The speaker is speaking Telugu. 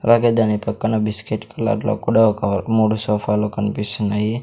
అలాగే దాని పక్కన బిస్కెట్ కలర్ లో కూడా ఒక మూడు సోఫాలు కన్పిస్తున్నాయి.